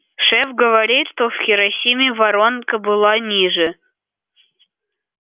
шеф говорит что в хиросиме воронка была ниже